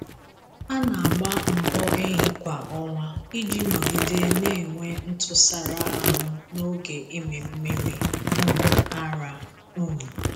A na-agba mbọ ehi kwa ọnwa iji nọgide na-enwe ntụsara ahụ n'oge ịmị mmiri um ara. um